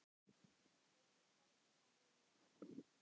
Þeim er hvergi nærri lokið.